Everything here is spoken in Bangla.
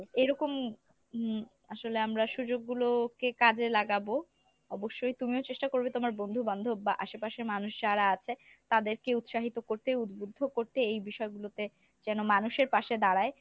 এইরকম হম আসলে আমরা সুযোগ গুলোকে কাজে লাগাবো অবশ্যই তুমিও চেষ্টা করবে তোমার বন্ধু বান্ধব বা আসেপাশের মানুষ যারা আছে তাদেরকে উৎসাহিত করতে উদ্ভুদ্ধ করতে এই বিষয় গুলোতে যেন মানুষের পাশে দাঁড়ায়।